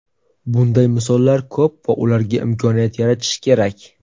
Bunday misollar ko‘p va ularga imkoniyat yaratish kerak.